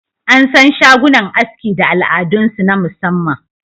An san shagunan aski da al'adunsu na musamman